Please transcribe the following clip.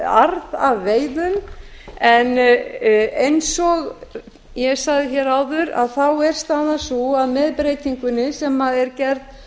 arð af veiðum en eins og ég sagði hér áður er staðan sú að með breytingunni sem er gerð